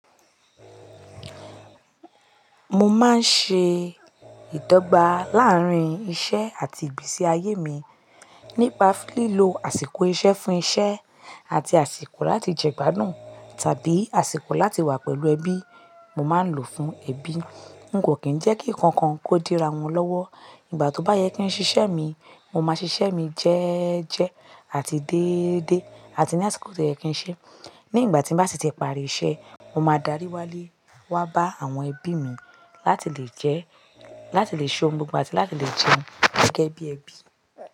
Mo máa ń ṣe ìdọ́gba láàárín iṣẹ́ àti ìgbésí ayé mi nípa lílo àsìkò iṣẹ́ fún iṣẹ́ àti àsìkò láti jẹ gbádùn tàbí àsìkò láti wà pẹ̀lú ẹbí mo máa ń lò fún ẹbí. N kò kín jẹ́ kí ǹkankan kó dira wọn lọ́wọ́. Ìgbà tó bá yẹ kí n ṣiṣẹ́ mi, mo máa ṣiṣẹ́ mi jẹ́ẹ́jẹ́ àti dédé, àti ní àsìkò to yẹ kí n ṣe. Ní ìgbà tí m bá si ti pari iṣẹ́, mo máa darí wálé wá bá àwọn ẹbí mi láti lè jẹ́, láti lè ṣohun gbogbo àti láti lè jẹun gẹ́gẹ́ bí ẹbí.